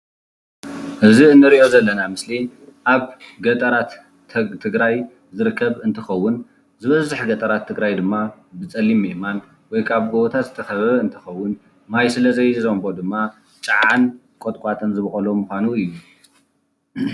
እዚ እንሪኦ ዘለና ምስሊ ኣብ ገጠራት ትግራይ ዝርከብ እንትከውን ዝበዝሕ ገጠራት ትግራይ ድማ ብፀሊም ኣእማን ወይ ከኣ ጎበታት ዝተከበበ እንትከውን ማይ ስለዘይዘንቦ ድማ ጫዓን ቆጥቋጥን ዝበቆሎ ምካኑ እዩ።